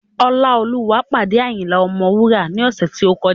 Ọláolúwa pàdé Ayinla Ọmọwura ní ọ̀sẹ̀ tí ó kọjá